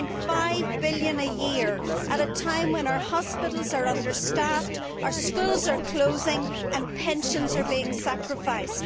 1.5 billion a year at a time when our hospitals are understaffed, our schools are closing and pensions are being sacrificed.